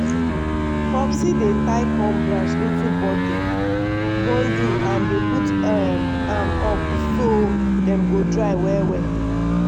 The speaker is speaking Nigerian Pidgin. popsie dey tie corn branch into bundle bundle and dey put um am up so dem go dry well well.